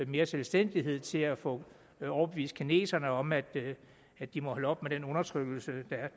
mere selvstændighed og til at få overbevist kineserne om at at de må holde op med den undertrykkelse